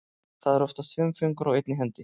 Það eru oftast fimm fingur á einni hendi.